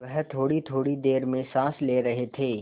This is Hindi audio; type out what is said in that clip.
वह थोड़ीथोड़ी देर में साँस ले रहे थे